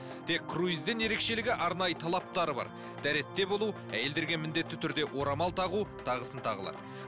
тек круизден ерекшелігі арнайы талаптары бар дәретте болу әйелдерге міндетті түрде орамал тағу тағысын тағылар